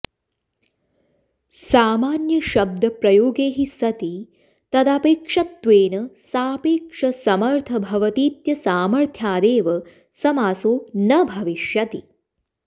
सामान्यशब्दप्रयोगे हि सति तदपेक्षत्वेन सापेक्षमसमर्थ भवतीत्यसामथ्र्यादेव समासो न भविष्यति